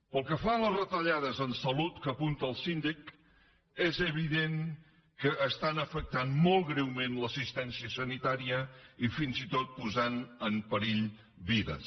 pel que fa a les retallades en salut que apunta el síndic és evident que afecten molt greument l’assistència sanitària i fins i tot posen en perill vides